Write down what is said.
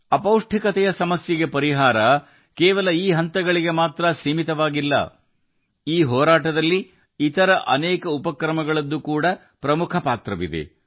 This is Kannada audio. ಅಪೌಷ್ಟಿಕತೆಯ ಕಾಯಿಲೆಗೆ ಪರಿಹಾರವು ಕೇವಲ ಈ ಹಂತಗಳಿಗೆ ಸೀಮಿತವಾಗಿಲ್ಲ ಈ ಹೋರಾಟದಲ್ಲಿ ಇತರ ಅನೇಕ ಉಪಕ್ರಮಗಳು ಸಹ ಪ್ರಮುಖ ಪಾತ್ರವನ್ನು ವಹಿಸುತ್ತವೆ